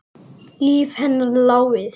Líf hennar lá við.